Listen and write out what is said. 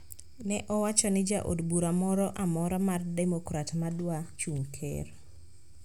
Ne owacho ni ja od bura moro amora mar demokrat ma dwa chung` ker